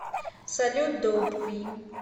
салют доуп ви